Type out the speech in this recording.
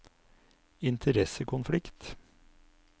interessekonflikt